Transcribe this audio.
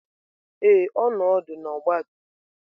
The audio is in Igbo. Ee, ọ nọ ọdụ na ọgbatumtum.